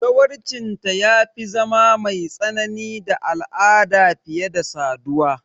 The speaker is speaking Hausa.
Zawarcinta ya fi zama mai tsanani da al'ada fiye da saduwa.